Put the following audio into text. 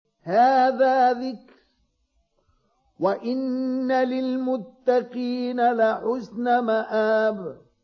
هَٰذَا ذِكْرٌ ۚ وَإِنَّ لِلْمُتَّقِينَ لَحُسْنَ مَآبٍ